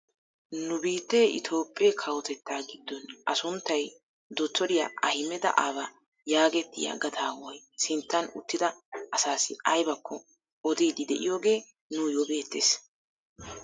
Nu biittee itoophphee kawotettaa giddon a sunttay dottoriyaa ahimeda aaba yagetettiyaa gadawaay sinttan uttida asaassi aybakko odiidi de'iyaagee nuyoo beettees.